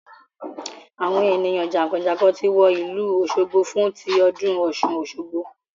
Àwọn ènìyàn jànkànjànkàn ti wọ ìlú òsogbo fún tí ọdún Ọ̀ṣun Osogbo